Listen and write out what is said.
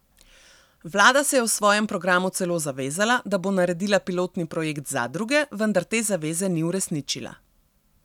Vlada se je v svojem programu celo zavezala, da bo naredila pilotni projekt zadruge, vendar te zaveze ni uresničila.